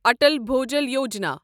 Atal Bhujal Yojana